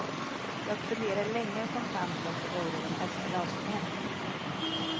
Jag funderade länge och kom fram till att det vore den bästa lösningen.